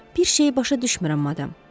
Bir şeyi başa düşmürəm, madam.